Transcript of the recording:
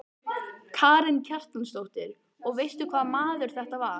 Karen Kjartansdóttir: Og veistu eitthvað hvaða maður þetta var?